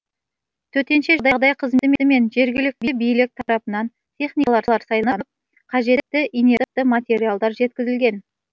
төтенше жағдай қызметі мен жергілікті билік тарапынан техникалар сайланып қажетті инертті материалдар жеткізілген